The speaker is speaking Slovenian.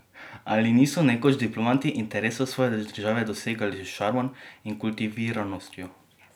Ali niso nekoč diplomati interesov svoje države dosegali s šarmom in kultiviranostjo?